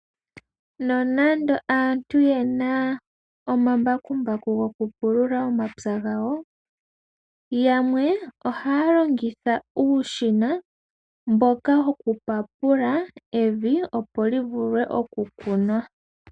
Nonando aantu ye na omambakumbaku go ku pulula omapya gawo, yamwe ohaya longitha uushina mboka wokupapula evi, opo li vule okukunwa.